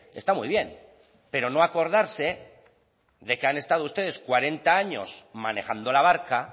está muy bien pero no acordarse de que han estado ustedes cuarenta años manejando la barca